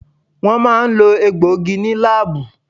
Wọ́n máa ń lo egbòogi ní láábù.